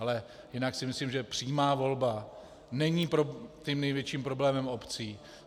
Ale jinak si myslím, že přímá volba není tím největším problémem obcí.